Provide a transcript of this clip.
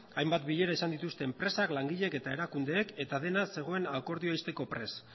hainbat bilera izan dituzte enpresak langileek eta erakundeek eta dena zegoen akordioa ixteko prest